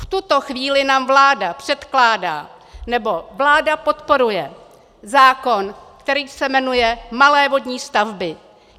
V tuto chvíli nám vláda předkládá, nebo vláda podporuje zákon, který se jmenuje malé vodní stavby.